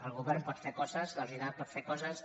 el govern pot fer coses la societat pot fer coses